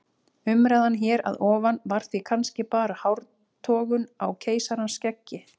Umræðan hér að ofan var því kannski bara hártogun á keisarans skeggi.